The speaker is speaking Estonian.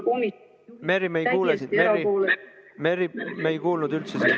Merry, me ei kuule sind, me ei kuulnud sind üldse.